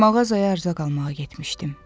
Mağazaya ərzaq almağa getmişdim.